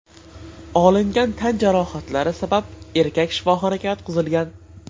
Olingan tan jarohatlari sabab erkak shifoxonaga yotqizilgan.